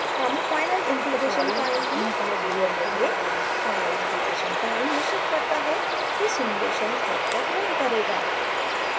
हम final integration time की value बदलेंगे final integration time निश्चित करता है कि सिम्युलेशन कब तक रन करेगा